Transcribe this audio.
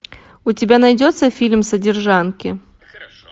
у тебя найдется фильм содержанки